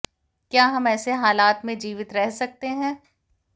क्या हम ऐसे हालात में जीवित रह सकते हैं